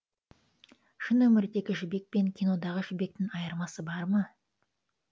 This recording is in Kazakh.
шын өмірдегі жібек пен кинодағы жібектің айырмасы бар ма